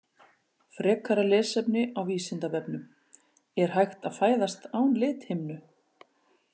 Frekara lesefni á Vísindavefnum: Er hægt að fæðast án lithimnu?